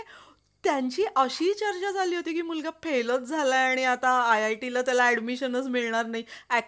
ते पण करायचा आता tiffin चालू झाला न मग नाष्ट्याचा करूया आपण आपण दोघ मिळून करूया